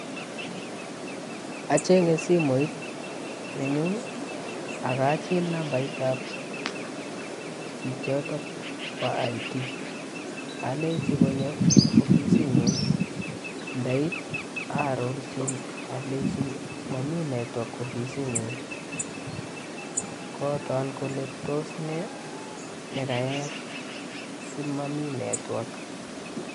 Acheng'e simoit nenyun akachil nambaitab chichotok boo IT, alenchi konyo ofisinyun ndait arorchi alenchi momii network ofisinyun, kotos nee nekayayak simomii network.